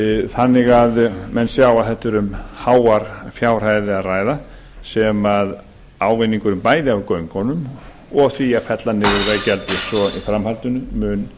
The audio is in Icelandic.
þannig að menn sjá að þarna er um háar fjárhæðir að ræða sem ávinningur bæði af göngunum og því að fella niður veggjaldið svo í framhaldinu mun